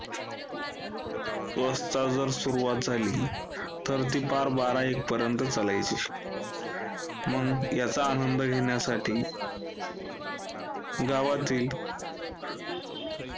वाजता जर सुरुवात झाली, तर ती पार बारा एक पर्यन्त चालायची मग याचा आनंद घेण्यासाठी गावातील